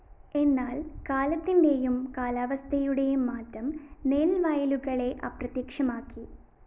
എന്നാല്‍ കാലത്തിന്റെയും കാലാവസ്ഥയുടെയും മാറ്റം നെല്‍ വയലുകളെ അപ്രത്യക്ഷമാക്കി്